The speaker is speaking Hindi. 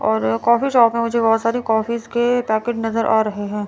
और कॉफी शॉप में मुझे बहुत सारी कॉफीस के पैकेट नजर आ रहे हैं।